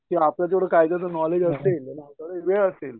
की आपल्याला जेव्हडं कायद्याचं नॉलेज असेल असेल.